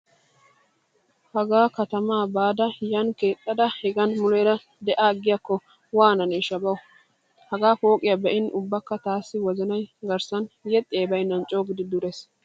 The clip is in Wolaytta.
Hagaa katamaa baada yaani keexxada hegan muleera de'aagiyaakko waananeeshsha bawu. Hagaa pooqiya be'in ubbakka taassi wozanay garssan yexxiyay baynnan coogidi durees.